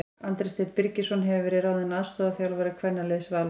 Andri Steinn Birgisson hefur verið ráðinn aðstoðarþjálfari kvennaliðs Vals.